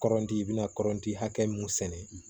Kɔrɔnti i bi na kɔrɔti hakɛ mun sɛnɛ